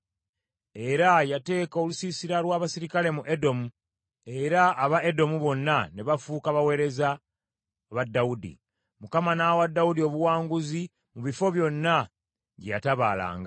Era yateeka olusiisira lw’abaserikale mu Edomu, era aba Edomu bonna ne bafuuka baweereza ba Dawudi. Mukama n’awa Dawudi obuwanguzi mu bifo byonna gye yatabaalanga.